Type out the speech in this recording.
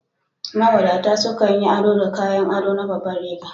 Mawadata sukan yi ado da kayan ado na babanriga